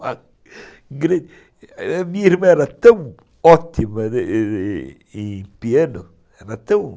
Minha irmã era tão ótima em piano, estudou com...